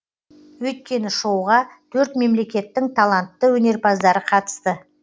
өйткені шоуға төрт мемлекеттің талантты өнерпаздары қатысты